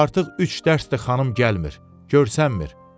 Artıq üç dərsdir xanım gəlmir, görünmür.